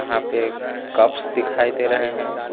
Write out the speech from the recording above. यहां पे एक कप्स दिखाई दे रहे हैं।